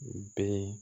U bɛ